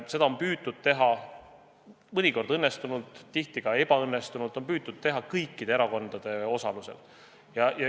Seda on püütud teha mõnikord õnnestunult, tihti ka ebaõnnestunult, on püütud teha kõikide erakondade osalusel.